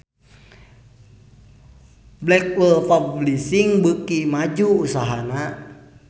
Blackwell Publishing beuki maju usahana